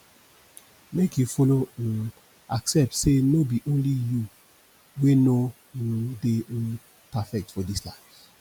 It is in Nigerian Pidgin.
mek yu follow um accept say no be only yu wey no um dey um perfect for dis life